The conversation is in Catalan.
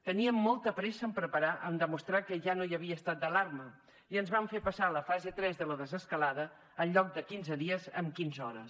tenien molta pressa en demostrar que ja no hi havia estat d’alarma i ens van fer passar a la fase tres de la desescalada en lloc de en quinze dies en quinze hores